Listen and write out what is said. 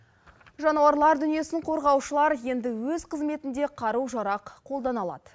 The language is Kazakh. жануарлар дүниесін қорғаушылар енді өз қызметінде қару жарақ қолдана алады